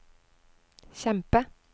kjempe